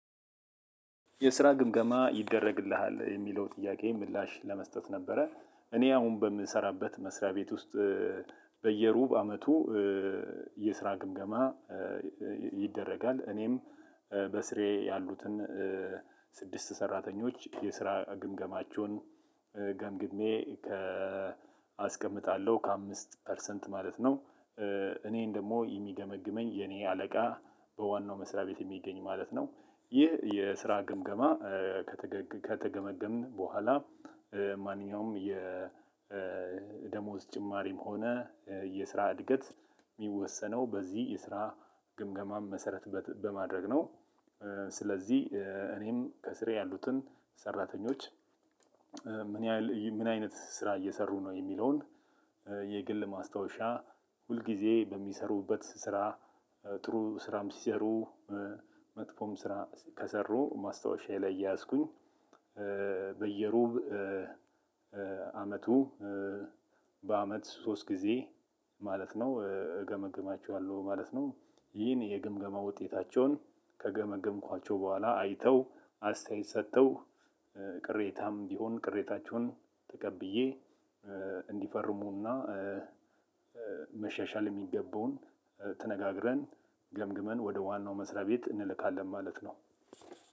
የስራ ግምገማ ይደረግልሃል የሚለው ጥያቄ ምላሽ ለመስጠት ነበረ እኔ አሁን በምሰራበት መስሪያ ቤት ውስጥ። በየሩብ አመቱ የስራ ግምገማ ይደረጋል። እኔም በስሬ ያሉትን ስድስት ሰራተኞች የስራ ግምገማቸውን ገምግሜ ከ አስቀምጣለሁ ከአምስት ፐርሰንት ማለት ነው። እኔን ደግሞ የሚገመግመኝ የኔ አለቃ በዋናው መስሪያ ቤት የሚገኝ ማለት ነው። ይህ የስራ ግምገማ ከተገመገምን በኋላ ማንኛውም የደሞዝ ጭማሪም ሆነ የስራ እድገት ሚወሰነው በዚህ የስራ ግምገማ መሰረት በማድረግ ነው። ስለዚህ እኔም ከስሬ ያሉትን ሰራተኞች ምን ምን አይነት ስራ እየሰሩ ነው የሚለውን የግል ማስታወሻ ሁል ጊዜ በሚሰሩበት ስራ ጥሩ ስራም ሲሰሩ መጥፎም ስራ ከሰሩ ማስታወሻዬ ላይ እየያዝኩኝ በየሩብ አመቱ በአመት ሶስት ጊዜ ማለት ነው እገመግማቸዋለሁ ማለት ነው። ይህን የግምገማ ውጤታቸውን ከ ገመገምኳቸው በኋላ አይተው አስታየት ሰጥተው ቅሬታም ቢሆን ቅሬታቸውን ተቀብዬ እንዲፈርሙና መሻሻል የሚገባውን ተነጋግረን ገምግመን ወደ ዋናው መስሪያ ቤት እንልካለን ማለት ነው።